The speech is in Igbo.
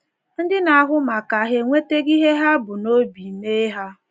Ndị na-ahụ maka hà enwetago ihe ha bu n’obi mee ha?